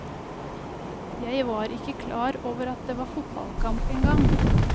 Jeg var ikke klar over at det var fotballkamp en gang.